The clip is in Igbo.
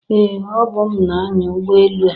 Ee! Ọbụ m na-anya ụgbọ elu a.